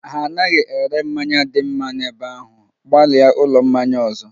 Ha anaghị ere mmanya dị mma n'ebe ahụ, gbalịa ulo mmanya ọzọ